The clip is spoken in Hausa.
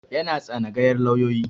Yana tsanagayar lauyoyi